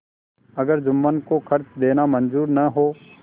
अगर जुम्मन को खर्च देना मंजूर न हो